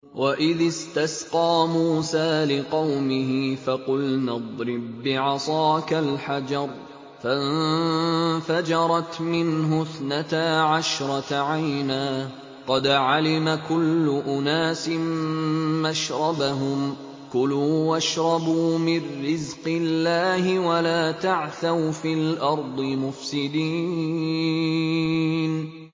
۞ وَإِذِ اسْتَسْقَىٰ مُوسَىٰ لِقَوْمِهِ فَقُلْنَا اضْرِب بِّعَصَاكَ الْحَجَرَ ۖ فَانفَجَرَتْ مِنْهُ اثْنَتَا عَشْرَةَ عَيْنًا ۖ قَدْ عَلِمَ كُلُّ أُنَاسٍ مَّشْرَبَهُمْ ۖ كُلُوا وَاشْرَبُوا مِن رِّزْقِ اللَّهِ وَلَا تَعْثَوْا فِي الْأَرْضِ مُفْسِدِينَ